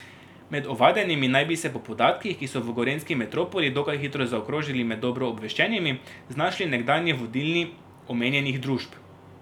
Med ovadenimi naj bi se po podatkih, ki so v gorenjski metropoli dokaj hitro zakrožili med dobro obveščenimi, znašli nekdanji vodilni omenjenih družb.